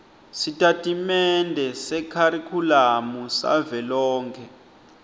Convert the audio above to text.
sitatimende sekharikhulamu savelonkhe